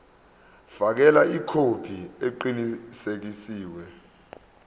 fakela ikhophi eqinisekisiwe